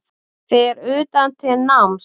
Fer utan til náms